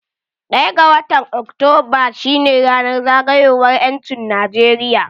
Ɗaya ga watan Oktoba shine ranan zagayowar 'yancin Najeriya.